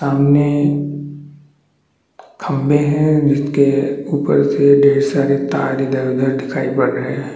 सामाने खम्बे है. जिसके ऊपर से ढेर सारे तार दिखाई दे रहे है।